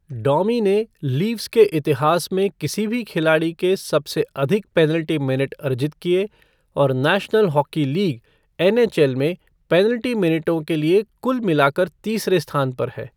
डोमी ने लीफ़्स के इतिहास में किसी भी खिलाड़ी के सबसे अधिक पेनल्टी मिनट अर्जित किए और नेशनल हॉकी लीग, एनएचएल में पेनल्टी मिनटों के लिए कुल मिलाकर तीसरे स्थान पर है।